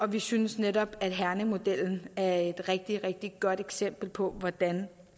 vi synes netop at herningmodellen er et rigtig rigtig godt eksempel på hvordan